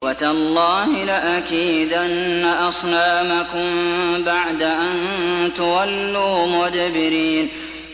وَتَاللَّهِ لَأَكِيدَنَّ أَصْنَامَكُم بَعْدَ أَن تُوَلُّوا مُدْبِرِينَ